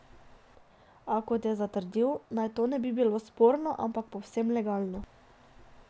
A, kot je zatrdil, naj to ne bi bilo sporno, ampak povsem legalno.